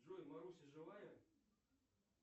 джой маруся живая